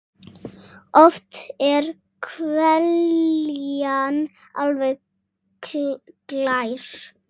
Oft er hveljan alveg glær.